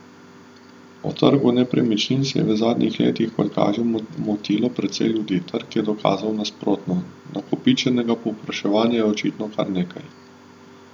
O trgu nepremičnin se je v zadnjih letih, kot kaže, motilo precej ljudi, trg je dokazal nasprotno, nakopičenega povpraševanja je očitno kar nekaj.